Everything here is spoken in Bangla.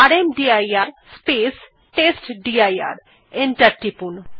এন্টার টিপুন